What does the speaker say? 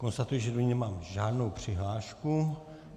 Konstatuji, že do ní nemám žádnou přihlášku.